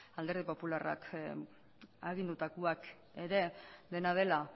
alderdi popularrak agindutakoak ere dena dela